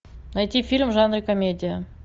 найти фильм в жанре комедия